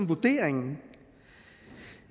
vurderingen